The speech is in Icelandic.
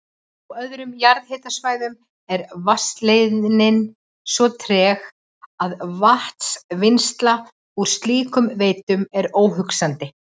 Á öðrum jarðhitasvæðum er vatnsleiðnin svo treg að vatnsvinnsla úr slíkum veitum er óhugsandi.